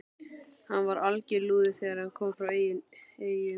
Hann var alger lúði þegar hann kom frá Eyjum.